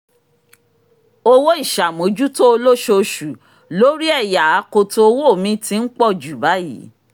owó ìṣàmójútó olóṣooṣù lórí ẹ̀yà akoto owó mi ti ń pọ̀jù báyìí